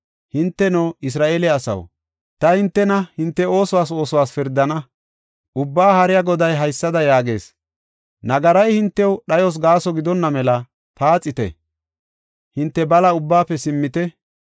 “Hinteno, Isra7eele asaw, ta hintena hinte oosuwatho oosuwatho pirdana. Ubbaa Haariya Goday haysada yaagees; nagari hintew dhayos gaaso gidonna mela paaxite; hinte bala ubbaafe simmite.